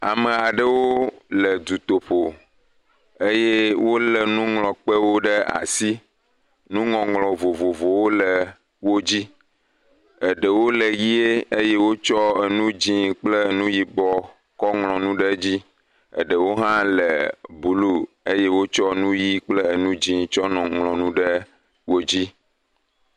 Ame aɖewo le dutoƒo eye wole nuŋlɔkpewo ɖe asi. Nuŋɔŋlɔ vovovowo le wo dzi. Eɖewo le wo dzi. Eɖewo le ʋie eye wotsɔ enu dzi kple enu yibɔ kɔ ŋlɔ nu ɖe edzi. Eɖewo hã le blu eye wotsɔ enu ʋi kple enu dzi tsɔ ŋlɔ nu ɖe wo dzi.